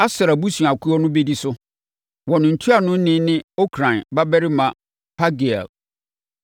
Aser abusuakuo no bɛdi so. Wɔn ntuanoni ne Okran babarima Pagiel.